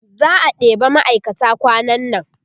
za'a ɗeba ma'aikata kwanan nan